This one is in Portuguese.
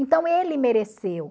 Então ele mereceu.